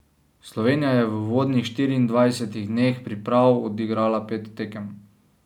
Slovenija je v uvodnih štiriindvajsetih dneh priprav odigrala pet tekem.